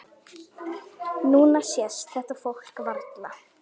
Núna sést þetta fólk varla.